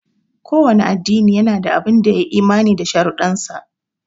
Kowanne addini yana da abun dai ya yi imani da sharuɗansa.